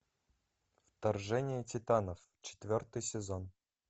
вторжение титанов четвертый сезон